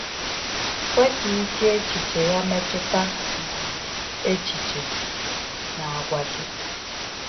Kwe ka ike echiche ya metụta um echiche na àgwà gị.